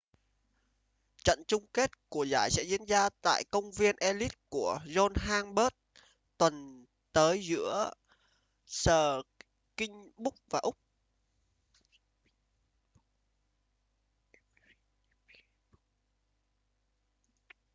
trận chung kết của giải sẽ diễn tra tại công viên ellis của johannesburg tuần tới giữa springboks và úc